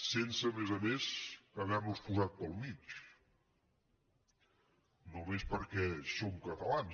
sense a més a més havernos posat pel mig només perquè som catalans